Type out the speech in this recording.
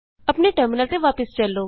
ਆਪਣੇ ਟਰਮਿਨਲ ਤੇ ਵਾਪਸ ਚਲੋ